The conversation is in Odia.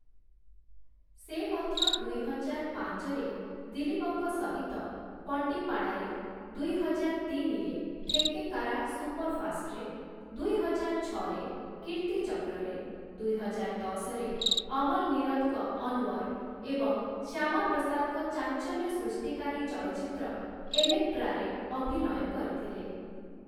ସେ ମଧ୍ୟ ଦୁଇ ହଜାର ପାଞ୍ଚରେ ଦିଲ୍ଲୀପଙ୍କ ସହିତ ପଣ୍ଡିପ୍ପାଡାରେ, ଦୁଇ ହଜାର ତିନିରେ ଥେକ୍କେକାରା ସୁପରଫାଷ୍ଟ୍‌ରେ, ଦୁଇ ହଜାର ଛଅରେ କୀର୍ତ୍ତିଚକ୍ରରେ, ଦୁଇ ହଜାର ଦଶରେ ଅମଲ୍ ନୀରଦଙ୍କ 'ଅନୱର୍' ଏବଂ ଶ୍ୟାମାପ୍ରସାଦଙ୍କ ଚାଞ୍ଚଲ୍ୟସୃଷ୍ଟିକାରୀ ଚଳଚ୍ଚିତ୍ର 'ଏଲେକ୍ଟ୍ରାରେ' ଅଭିନୟ କରିଥିଲେ ।